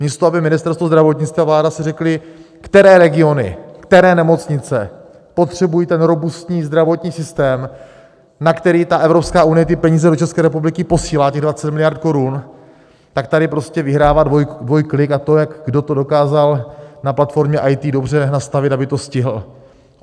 Místo aby Ministerstvo zdravotnictví a vláda si řekly, které regiony, které nemocnice potřebují ten robustní zdravotní systém, na který ta Evropská unie ty peníze do České republiky posílá, těch 20 miliard korun, tak tady prostě vyhrává dvojklik a to, jak kdo to dokázal na platformě IT dobře nastavit, aby to stihl.